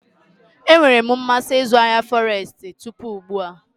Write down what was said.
Enwere m mmasị na ịzụ ahịa Forestu tupu ugbu a.